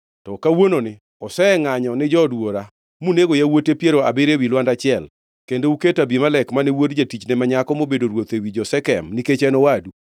to kawuononi osengʼanyo ni jood wuora, munego yawuote piero abiriyo ewi lwanda achiel, kendo uketo Abimelek, mane wuod jatichne ma nyako mobedo ruoth ewi jo-Shekem nikech en owadu.